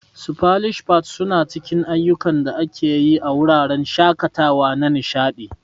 Splash pads suna cikin ayukan da ake yi a wuraren shakatawa na nishadi.